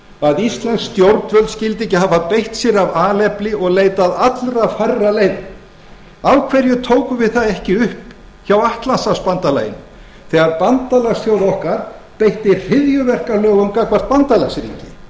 að íslensk stjórnvöld skyldu ekki hafa beitt sér af alefli og leitað allra færra leiða af hverju tókum við það ekki upp hjá atlantshafsbandalaginu þegar bandalagsþjóð okkar beitti hryðjuverkalögum gagnvart bandalagsþjóð sinni